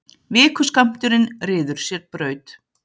Vikuskammturinn ryður sér braut.